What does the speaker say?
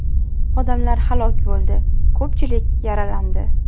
Odamlar halok bo‘ldi, ko‘pchilik yaralandi.